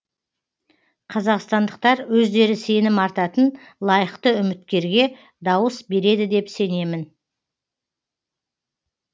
қазақстандықтар өздері сенім артатын лайықты үміткерге дауыс береді деп сенемін